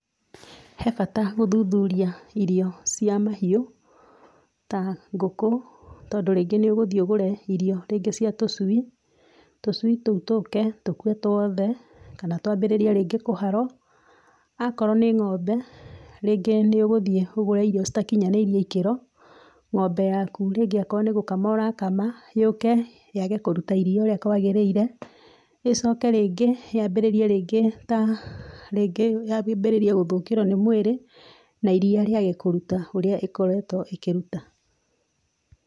He bata gũthuthuria irio cia mahiũ ta ngũkũ, tondũ rĩngĩ nĩ ũgũthiĩ ũgũre irio rĩngĩ cia tũcui, tũcui tũu tũke tũkue tũothe kana twambĩrĩrie rĩngĩ kũharwo. Akorwo nĩ g'ombe, rĩngĩ nĩ ũgũthiĩ ũgũre irio citakinyanĩirie ikĩro, ng'ombe yaku rĩngĩ akoo nĩ gũkama ũrakama, yũke yage kũruta iria ũrĩa kwagĩrĩire, ĩcoke rĩngĩ yambĩrĩrie rĩngĩ, ta rĩngĩ yambĩrĩrie gũthũkĩrwo nĩ mwĩrĩ, na iria rĩage kũruta ũrĩa ĩkoretwo ĩkĩruta.